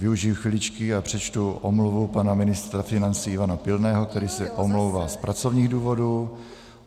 Využiji chviličky a přečtu omluvu pana ministra financí Ivana Pilného, který se omlouvá z pracovních důvodů.